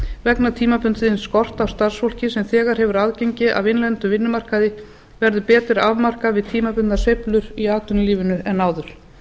vegna tímabundins skorts á starfsfólki sem þegar hefur aðgengi að innlendum vinnumarkaði verði betur afmarkað við tímabundnar sveiflur í atvinnulífinu en áður